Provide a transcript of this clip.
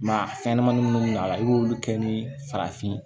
Maa fɛnɲɛnamanin minnu bɛ a la i b'olu kɛ ni farafin ye